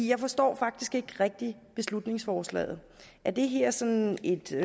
jeg forstår faktisk ikke rigtig beslutningsforslaget er det her sådan et